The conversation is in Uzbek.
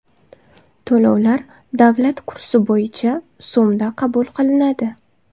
To‘lovlar davlat kursi bo‘yicha so‘mda qabul qilinadi.